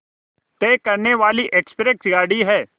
तय करने वाली एक्सप्रेस गाड़ी है